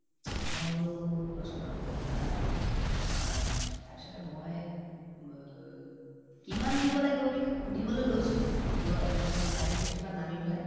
মই বোলো ৰচোন ৰ কিবা এটা হব এহ্ উম তাৰপিছতে মই কিমান দিব লাগীব বুলি সুধিবলৈ লৈছো মানে driving seat তোৰ পৰা নামি পেলায়